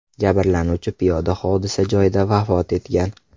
Jabrlanuvchi piyoda hodisa joyida vafot etgan.